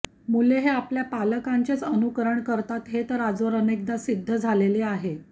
मुल हे आपल्या पालकांचेच अनुकरण करते हे तर आजवर अनेकदा सिद्ध झालेले आहे